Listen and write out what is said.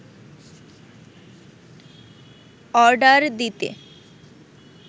order দিতে